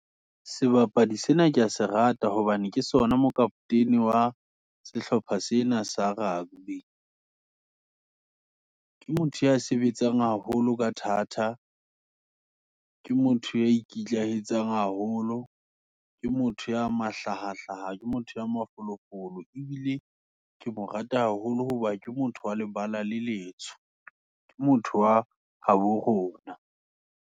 Sebapadi sena, kea se rata hobane, ke sona mokapotene wa, sehlopha sena sa rugby, ke motho ya sebetsang haholo, ka thata, ke motho ya ikitlaetsang haholo, ke motho ya mahlahahlaha, ke motho ya mafolofolo. Ebile ke mo rata haholo hoba, ke motho wa lebala le letsho, ke motho wa habo rona.